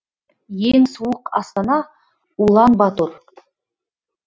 ең суық астана улан батор